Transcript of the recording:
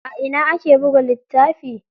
A ina ake buga littafi?